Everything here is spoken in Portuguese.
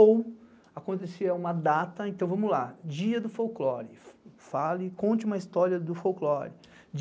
Ou acontecia uma data, então vamos lá, dia do folclore, fale, conte uma história do folclore.